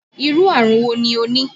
Irú àrùn wò ní o ní?